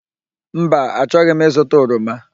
Mba, achọghị m ịzụta oroma.